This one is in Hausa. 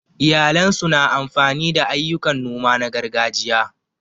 Iyalan su na amfani da ayyukan noma na gargajiya.